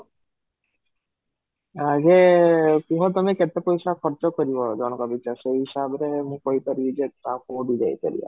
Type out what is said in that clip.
ହଁ, ଯେ କୁହ ତମେ କେତେ ପଇସା ଖର୍ଚ୍ଚ କରିବ ଜଣକ ପିଛା ସେଇ ହିସାବରେ ମୁଁ କହି ପାରିବି ଯେ ଆଉ କୋଉଠି ଯାଇ ପାରିବା